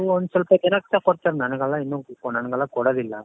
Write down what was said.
ಅದು ಒಂದ್ ಸ್ವಲ್ಪ ಜನಕೆ ಕೊಡ್ತಾರೆ ನನಗೆಲ್ಲಾ ಇನ್ನು ನoಗೆಲ್ಲಾ ಕೊಡೋದಿಲ್ಲ